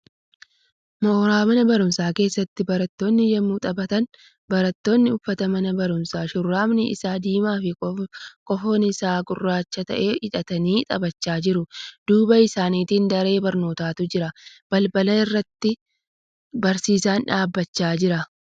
Mooraa mana baruumsaa keessatti barattoonni yemmuu taphatan. Barattoonni uffata mana barumsaa shurraabiin isaa diimaa fi kofoon isaa gurraacha ta'e hidhatanii taphachaa jiru. Duuba isaanitti daree barnootatu jira. Balbala irratti barsiisaan dhaabbachaa jira.